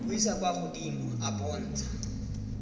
buisetsa kwa godimo a bontsha